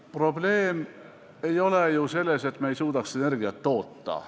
Probleem ei ole ju selles, et me ei suuda energiat toota.